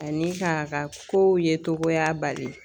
Ani ka ka ko yecogoya bali.